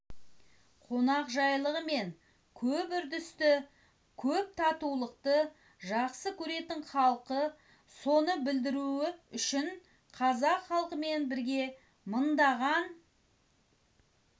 қонақжайлылығымен көп үрдісті көп татулықты жақсы көретін халық соны білдіру үшін қазақ халқымен бірге мыңдаған